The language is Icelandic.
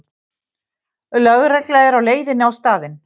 Lögregla er á leiðinni á staðinn